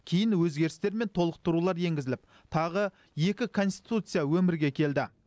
кейін өзгерістер мен толықтырулар енгізіліп тағы екі конституция өмірге келді